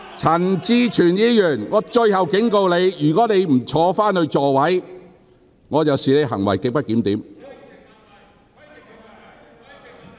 陳志全議員，我最後一次警告你，如你仍不返回座位，我會視之為行為極不檢點。